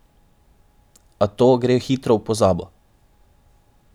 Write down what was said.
A to gre hitro v pozabo.